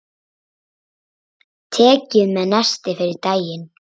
Takið með nesti fyrir daginn.